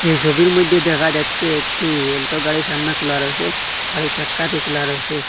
এই ছবির মধ্যে দেখা যাচ্ছে একটি এলটো গাড়ির সামনে খোলা রইসে আর এই চাক্কাটি খোলা রইসে।